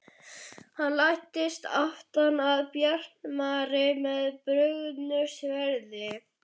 Hann læddist aftan að Bjartmari með brugðnu sverði.